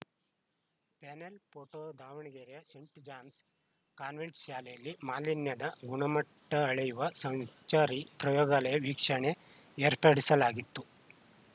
panel photo ದಾವಣಗೆರೆಯ saint John's convent ಶಾಲೆಯಲ್ಲಿ ಮಾಲಿನ್ಯದ ಗುಣಮಟ್ಟಅಳೆಯುವ ಸಂ ಚಾರಿ ಪ್ರಯೋಗಾಲಯದ ವೀಕ್ಷಣೆ ಏರ್ಪಡಿಸಲಾಗಿತ್ತು